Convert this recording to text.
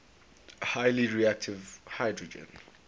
highly reactive hydrogen